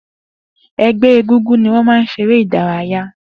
Egbe eégúngún ní wọn máa ń ṣeré ìdárayá.